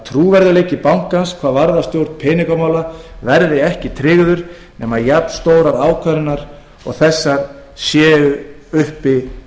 trúverðugleiki bankans hvað varðar stjórn peningamála verði ekki tryggður nema jafnstórar ákvarðanir og þessar séu uppi